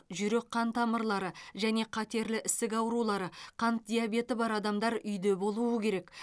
жүрек қан тамырлары және қатерлі ісік аурулары қант диабеті бар адамдар үйде болуы керек